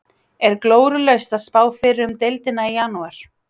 Er glórulaust að spá fyrir um deildina í janúar?